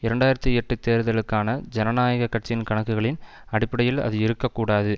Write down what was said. இரண்டு ஆயிரத்தி எட்டு தேர்தலுக்கான ஜனநாயக கட்சியின் கணக்குகளின் அடிப்படையில் அது இருக்க கூடாது